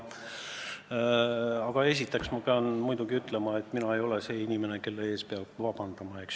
Aga esiteks pean ütlema, et mina ei ole see inimene, kelle ees peab vabandama.